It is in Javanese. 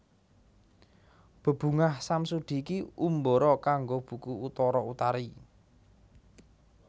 Bebungah Samsudi Ki Umbara kanggo buku Utara Utari